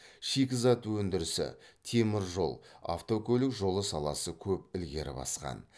шикізат өндірісі темір жол автокөлік жолы саласы көп ілгері басқан